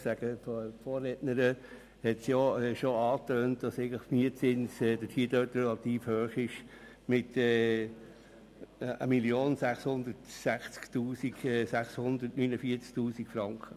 Die Vorrednerin hat bereits angetönt, dass der Mietzins dort relativ hoch ist: 1 660 649 Franken.